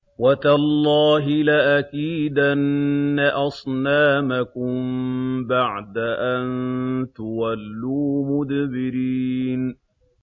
وَتَاللَّهِ لَأَكِيدَنَّ أَصْنَامَكُم بَعْدَ أَن تُوَلُّوا مُدْبِرِينَ